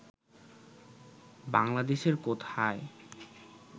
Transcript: বাংলাদেশের কোথায়